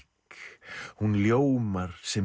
hún ljómar sem